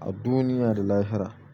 a duniya da lahira.